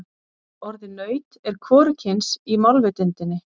Orðið naut er hvorugkyns í málvitundinni.